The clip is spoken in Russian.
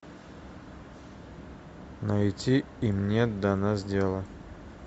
найти им нет до нас дела